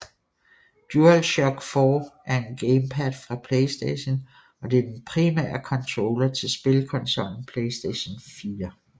DualShock 4 er en gamepad fra playstation og det er den primære controller til spilkonsollen playstation 4